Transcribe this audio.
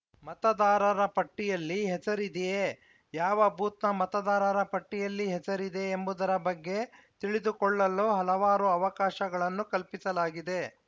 ಮತದಾರರ ಪಟ್ಟಿಯಲ್ಲಿ ಹೆಸರಿದೆಯೇ ಯಾವ ಬೂತ್‌ನ ಮತದಾರರ ಪಟ್ಟಿಯಲ್ಲಿ ಹೆಸರಿದೆ ಎಂಬುವುದರ ಬಗ್ಗೆ ತಿಳಿದುಕೊಳ್ಳಲು ಹಲವಾರು ಅವಕಾಶಗಳನ್ನು ಕಲ್ಪಿಸಲಾಗಿದೆ